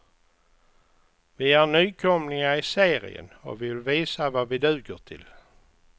Vi är nykomlingar i serien och vi vill visa vad vi duger till.